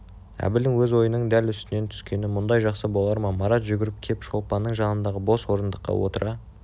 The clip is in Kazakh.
әбілдің өз ойының дәл үстінен түскені мүндай жақсы болар ма марат жүгіріп кеп шолпанның жанындағы бос орындыққа отыра